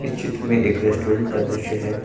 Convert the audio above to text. चित्र में एक रेस्टोरेंट का दृश्य है।